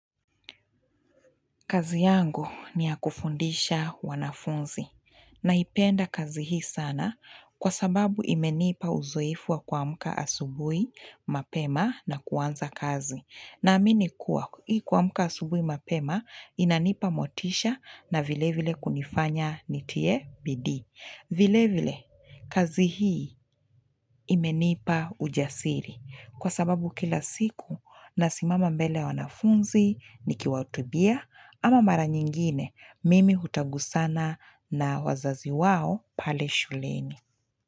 Kazi yangu ni ya kufundisha wanafunzi naipenda kazi hii sana kwa sababu imenipa uzoifu wa kuamka asubuhi, mapema na kuanza kazi. Naamini kuwa ilikuamka asubuhi, mapema inanipa motisha na vile vile kunifanya nitie bidi. Vile vile kazi hii imenipa ujasiri kwa sababu kila siku nasimama mbele wanafunzi nikiwatubia ama mara nyingine mimi hutagusana na wazazi wao pale shuleni.